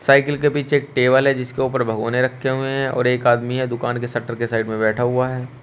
Cycle के पीछे एक टेबल है जिसके उपर भगौने रखे हुए हैं और एक आदमी है दुकान के शटर के साइड में बैठा हुआ है।